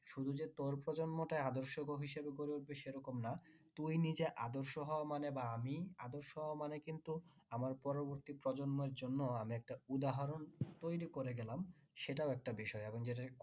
শুধু যে তোর প্রজন্মটা আদর্শ হিসাবে গড়ে উঠবে সে রকম না তুই নিজে আদর্শ হওয়া মানে বা আমি আদর্শ হওয়া মানে কিন্তু আমার পরবর্তী প্রজন্মর জন্য আমি একটা উদাহরণ তৈরী করে গেলাম সেটাও একটা বিষয়